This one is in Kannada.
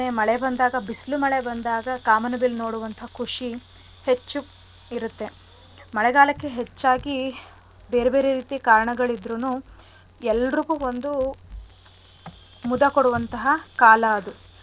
ಬಂದಾಗ ಬಿಸ್ಲ್ ಮಳೆ ಬಂದಾಗ ಕಾಮನಬಿಲ್ ನೋಡುವಂಥ ಖುಷಿ ಹೆಚ್ಚು ಇರತ್ತೆ. ಮಳೆಗಾಲಕ್ಕೆ ಹೆಚ್ಚಾಗಿ ಬೇರೆ ಬೇರೆ ರೀತಿ ಕಾರಣಗಳಿದ್ರುನು ಎಲ್ರಿಗೂ ಒಂದು ಮುದ ಕೊಡುವಂತಹ ಕಾಲ ಅದು ಹವಾಮಾನ.